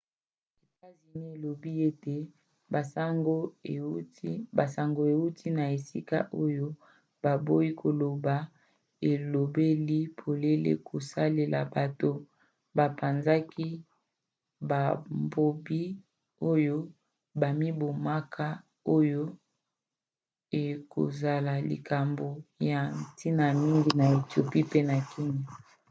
etats-unis elobi ete ezwi basango euti na esika oyo baboyi koloba elobeli polele kosalela bato bapanzaki babombi oyo bamibomaka oyo ekozala likambo ya ntina mingi na ethiopie pe na kenya